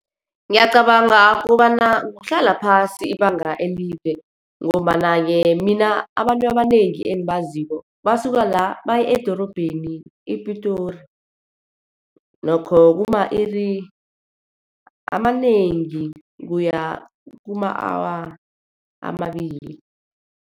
Ngiyacabanga kobana kuhlala phasi ibanga elide, ngombana-ke mina abantu abanengi engibaziko, basuka la baye edorobheni ePitori. Nokho kuma-iri amanengi kuya kuma-awa amabili.